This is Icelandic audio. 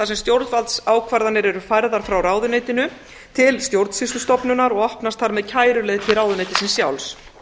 sem stjórnvaldsákvarðanir eru færðar frá ráðuneytinu til stjórnsýslustofnunar og opnast þar með kæruleið til ráðuneytisins sjálfs